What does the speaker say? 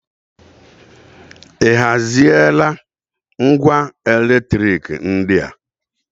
Ị haziela ngwa eletriki ndị a?